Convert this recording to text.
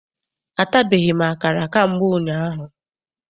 Atabeghị m akara ka mgbe ụnyaahụ.